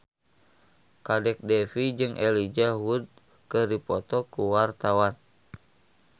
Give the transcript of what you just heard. Kadek Devi jeung Elijah Wood keur dipoto ku wartawan